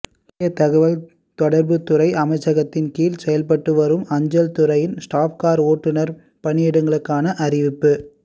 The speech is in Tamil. இந்திய தகவல் தொடர்புத் துறை அமைச்சகத்தின் கீழ் செயல்பட்டு வரும் அஞ்சல் துறையில் ஸ்டாப் கார் ஓட்டுநர் பணியிடங்களுக்கான அறிவிப்பு